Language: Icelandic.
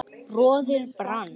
roðið brann